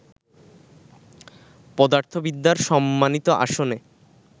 পদার্থবিদ্যার সম্মানিত আসনে